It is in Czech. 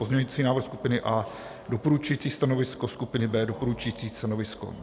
pozměňovací návrh skupiny A doporučující stanovisko, skupiny B doporučující stanovisko;